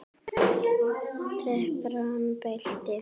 Temprað belti.